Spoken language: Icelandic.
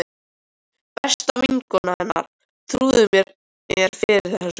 Besta vinkona hennar trúði mér fyrir þessu.